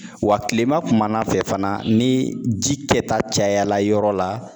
wa tilema kumana fɛ fana ni ji kɛta cayala yɔrɔ la